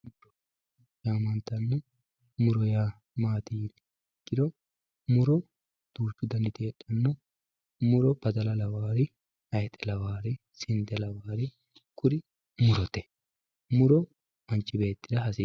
muronna laalo yaamantanno muro yaa maati yinummoha ikkiro muro duuchu daniti heedhanno muro badala lawaari hayxe lawaarinni sinde lawaari kuri manchi beetira hasii